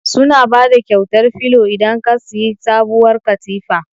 Suna bada kyautar filo idan ka siyi sabuwar katifa.